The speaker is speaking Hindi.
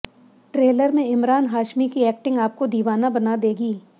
ट्रेलर में इमरान हाशमी की एक्टिंग आपको दिवाना बना देगी